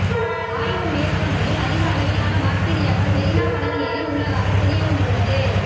ஆய்வு மேற்கொண்டதில் அதிக அளவிலான பாக்டீரியாக்கள் மெரீனா கடல் நீரில் உள்ளதாக தெரிய வந்துள்ளது